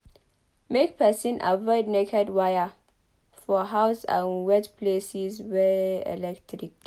Make person avoid naked wire for house and wet places wey electric dey